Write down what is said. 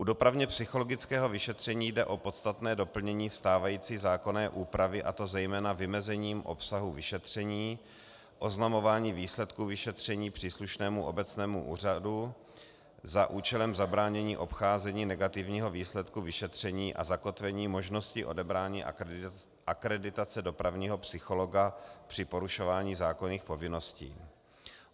U dopravně-psychologického vyšetření jde o podstatné doplnění stávající zákonné úpravy, a to zejména vymezením obsahu vyšetření, oznamováním výsledku vyšetření příslušnému obecnému úřadu za účelem zabránění obcházení negativního výsledku vyšetření a zakotvení možnosti odebrání akreditace dopravního psychologa při porušování zákonných povinností.